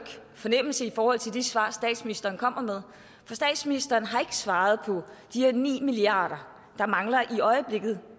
fornemmelse i forhold til de svar statsministeren kommer med for statsministeren har ikke svaret på de her ni milliard kr der mangler i øjeblikket